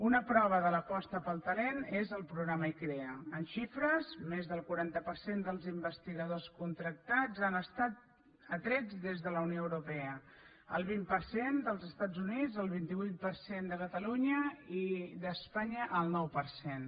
una prova de l’aposta pel talent és el programa icrea en xifres més del quaranta per cent dels investigadors contractats han estat atrets des de la unió europea el vint per cent dels estats units el vint vuit per cent de catalunya i d’espanya el nou per cent